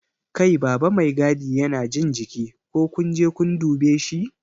Kai baba Mai gadi Yana jin jiki, ko kunje kun dube shi?